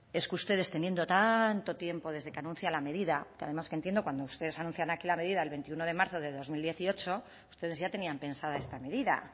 es que ustedes teniendo tanto tiempo desde que anuncian la medida que además que entiendo cuando ustedes anuncian aquí la medida el veintiuno de marzo de dos mil dieciocho ustedes ya tenían pensada esta medida